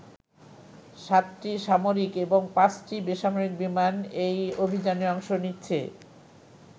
সাতটি সামরিক এবং পাঁচটি বেসামরিক বিমান এই অভিযানে অংশ নিচ্ছে।